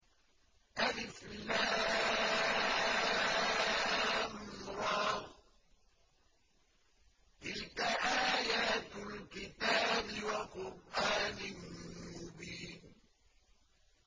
الر ۚ تِلْكَ آيَاتُ الْكِتَابِ وَقُرْآنٍ مُّبِينٍ